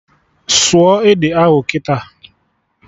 Sụọ ede ahụ kịta!